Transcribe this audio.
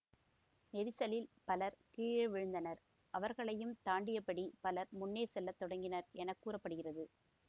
நெரிசலில் பலர் கீழே வீழ்ந்தனர் அவர்களையும் தாண்டியபடி பலர் முன்னே செல்ல தொடங்கினர் என கூற படுகிறது